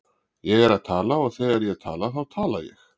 Ég er að tala og þegar ég tala þá tala ég.